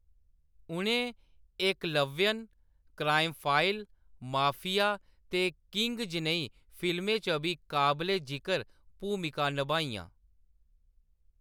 उʼनें एकलव्यन, crime file, mafia ते किंग जनेही फिल्में च बी काबले जिकर भूमिकां निभाइयां।